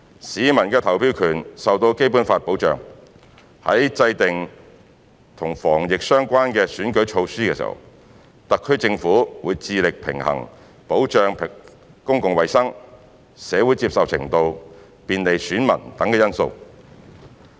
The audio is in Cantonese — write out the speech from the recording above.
市民的投票權受到《基本法》保障，在制訂與防疫相關的選舉措施時，特區政府會致力平衡保障公共衞生、社會接受程度、便利選民等因素。